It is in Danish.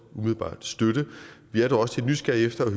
umiddelbart støtte det vi er dog også lidt nysgerrige efter at